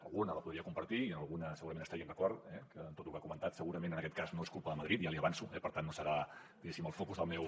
alguna la podria compartir i en alguna segurament estaríem d’acord eh que en tot el que ha comentat segurament en aquest cas no és culpa de madrid ja l’hi avanço eh per tant no serà diguéssim el focus del meu